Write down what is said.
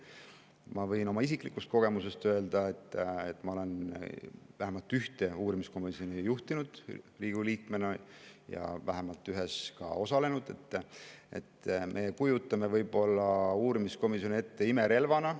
Ma võin oma isiklikust kogemusest öelda, kuna ma olen vähemalt ühte uurimiskomisjoni Riigikogu liikmena juhtinud ja vähemalt ühe töös ka osalenud, et me kujutame võib-olla uurimiskomisjoni ette imerelvana.